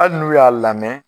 Hali n'u y'a lamɛ